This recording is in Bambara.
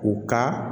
U ka